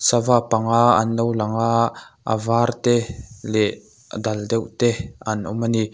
sava panga an lo lang a a var te leh a dal deuh te an awm a ni.